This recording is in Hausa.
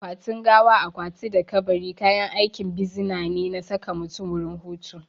Akwatin gawa, akwati da kabari kayan aikin bisina ne na saka mutum wurin hutu